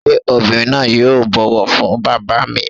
Ṣé obìnrin náà yóò bọ̀wọ̀ fún Bàbá mi.